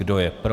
Kdo je pro?